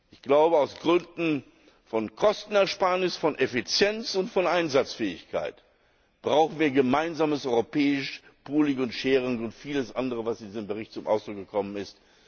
Ich glaube, aus Gründen der Kostenersparnis, der Effizienz und der Einsatzfähigkeit brauchen wir gemeinsames europäisches pooling und sharing und vieles andere, was in diesem Bericht zum Ausdruck gekommen